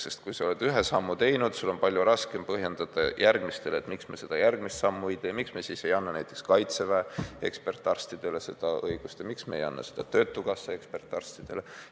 Sest kui sa oled ühe sammu teinud, siis sul on palju raskem põhjendada järgmistele huvilistele, miks me järgmist sammu ei tee, miks me ei anna näiteks Kaitseväe ekspertarstidele seda õigust ja miks me ei anna töötukassa ekspertarstidele seda õigust.